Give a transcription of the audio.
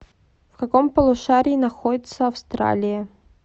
в каком полушарии находится австралия